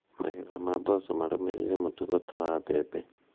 Magetha ma mboco marũmĩrĩire mũtugo ta wa mbembe